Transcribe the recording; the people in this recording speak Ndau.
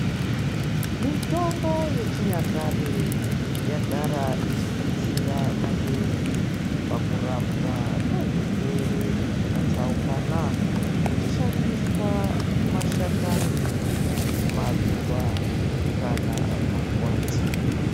Mitombo yechinyakare yagara ichidetsera maningi pakurapwa kwezvirwere zvakatsaukana uchishandiswa mashakani, maruwa kana makwati.